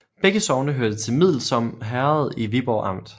Begge sogne hørte til Middelsom Herred i Viborg Amt